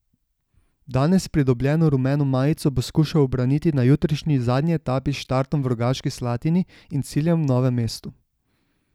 Danes pridobljeno rumeno majico bo skušal ubraniti na jutrišnji zadnji etapi s štartom v Rogaški Slatini in ciljem v Novem mestu.